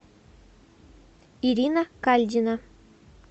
ирина кальдина